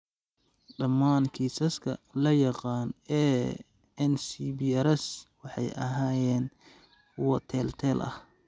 Dhammaan kiisaska la yaqaan ee NCBRS waxay ahaayeen kuwo teel-teel ah.